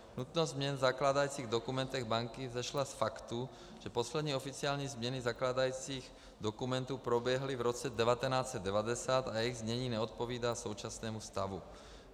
Nutnost změn v zakládajících dokumentech banky vzešla z faktu, že poslední oficiální změny zakládajících dokumentů proběhly v roce 1990 a jejich znění neodpovídá současnému stavu.